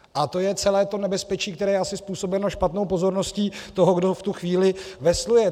A to je celé to nebezpečí, které je asi způsobeno špatnou pozorností toho, kdo v tu chvíli vesluje.